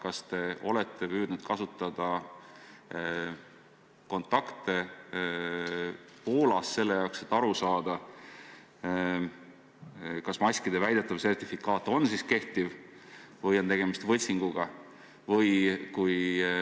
Kas te olete püüdnud kasutada oma kontakte Poolas selleks, et aru saada, kas maskide väidetav sertifikaat on kehtiv või on tegemist võltsinguga?